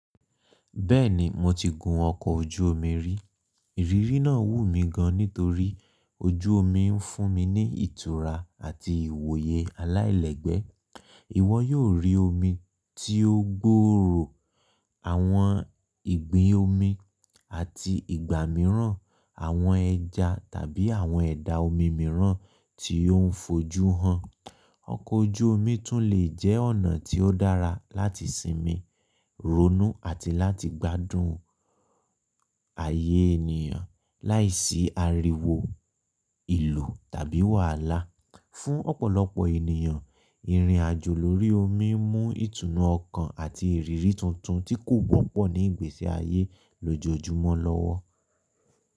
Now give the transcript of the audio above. Bẹ́ẹ̀ni, mo ti gun ọkọ̀ ojú omi rí. Ìrírí náà wù mí gan nítorí ojú omi ń fún mi ní ìtura àti ìwòye aláìlẹ́gbẹ́. Ìwọ yóò rí omi tí ó gbòòrò, àwọn ìgbín omi àti ìgbà mìíràn àwọn ẹja tàbí àwọn ẹ̀dà omi mìíràn tí ó ń fojú hàn. Ọkọ̀ ojú omi tún lè jẹ́ ọ̀nà tí ó dára láti sinmi, ronú àti láti gbádùn ààyè ènìyàn láìsí ariwo ìlù tàbí wàhálà. Fún ọ̀pọ̀lọpọ̀ ènìyàn, ìrìn àjò lórí omi mú ìtùnú ọkàn àti ìrírí tuntun tí kò wọ́pọ̀ ní ìgbésí ayé lójoojúmọ́ lọ́wọ́.